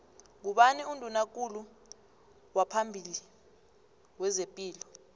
ngubani unduna kulu waphambili wezepilo